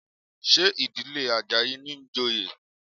Ṣé ìdílé Àjàyí ní ń joyè?